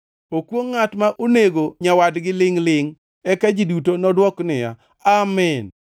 “Okwongʼ ngʼat ma onego nyawadgi lingʼ-lingʼ.” Eka ji duto nodwok niya, “Amin!”